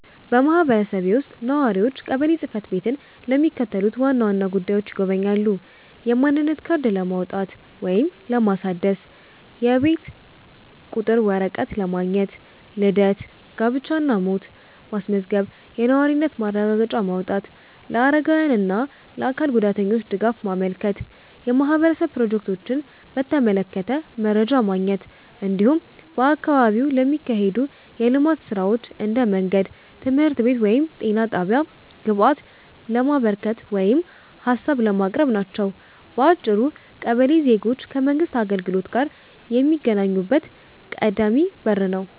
በማህበረሰቤ ውስጥ ነዋሪዎች ቀበሌ ጽ/ቤትን ለሚከተሉት ዋና ዋና ጉዳዮች ይጎበኛሉ፦ የማንነት ካርድ ለማውጣት ወይም ለማደስ፣ የቤት ቁጥር ወረቀት ማግኘት፣ ልደት፣ ጋብቻ እና ሞት ማስመዝገብ፣ የነዋሪነት ማረጋገጫ ማውጣት፣ ለአረጋውያን እና ለአካል ጉዳተኞች ድጋፍ ማመልከት፣ የማህበረሰብ ፕሮጀክቶችን በተመለከተ መረጃ ማግኘት፣ እንዲሁም በአካባቢው ለሚካሄዱ የልማት ሥራዎች (እንደ መንገድ፣ ትምህርት ቤት ወይም ጤና ጣቢያ) ግብአት ለማበርከት ወይም ሀሳብ ለማቅረብ ናቸው። በአጭሩ ቀበሌ ዜጎች ከመንግሥት አገልግሎት ጋር የሚገናኙበት ቀዳሚ በር ነው።